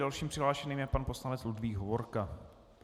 Dalším přihlášeným je pan poslanec Ludvík Hovorka.